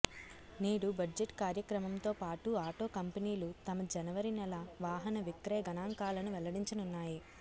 నేడు బడ్జెట్ కార్యక్రమంతో పాటు ఆటో కంపెనీలు తమ జనవరి నెల వాహన విక్రయ గణాంకాలను వెల్లడించనున్నాయి